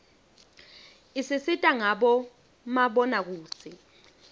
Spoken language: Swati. isisita ngabo mabonakudze